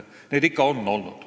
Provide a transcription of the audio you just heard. Neid ikka on olnud.